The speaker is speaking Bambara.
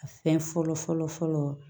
A fɛn fɔlɔ fɔlɔ fɔlɔ